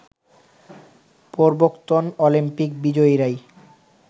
পূর্বোক্তোন Olympic বিজয়ীরাই